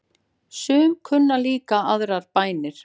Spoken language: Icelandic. Sum kunna líka aðrar bænir.